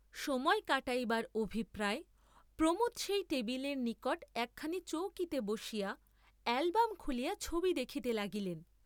সময় কাটাইবার অভিপ্রায়ে প্রমোদ সেই টেবিলের নিকট একখানি চৌকিতে বসিয়া অ্যালবম্ খুলিয়া ছবি দেখিতে লাগিলেন।